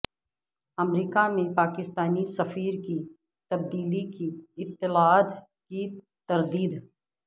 امریکہ میں پاکستانی سفیر کی تبدیلی کی اطلاعات کی تردید